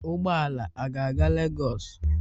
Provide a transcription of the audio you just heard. Ụgbọ ala a ga-aga Lagos?